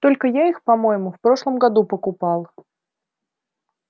только я их по-моему в прошлом году покупал